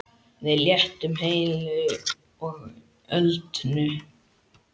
Við lentum heilu og höldnu.